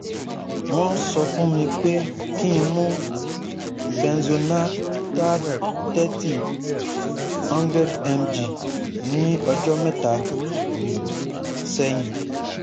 Wọ́n sọ fún mi pé kí n mú benzonatate one hundred mg ní ọjọ́ mẹ́ta sẹ́yìn